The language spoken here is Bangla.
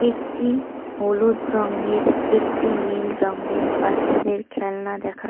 একটি হলুদ রঙের একটি নীল রঙের বাচ্চাদের খেলনা দেখা--